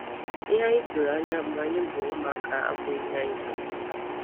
Ihe anyị tụrụ anya mgbe anyị bụ ụmụaka abụghị ihe anyị chọrọ taa.